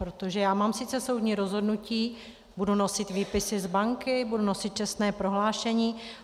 Protože já mám sice soudní rozhodnutí, budu nosit výpisy z banky, budu nosit čestné prohlášení...